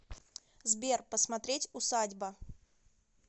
сбер посмотреть усадьба